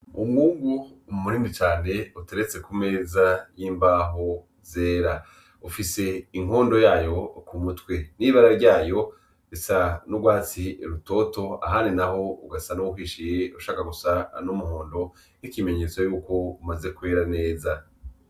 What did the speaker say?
Umwungu umu murindi cane uteretse kumeza y'imbaho zera ufise inkondo yayo ku mutwe n'ibara ryayo risa n'urwatsi rutoto ahari na ho ugasa n' uwukishire ushaka gusa anoumuhondo nk'ikimenyetso yuko umaze kwera neza.